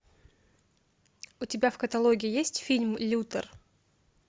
у тебя в каталоге есть фильм лютер